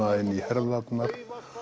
inn í herðarnar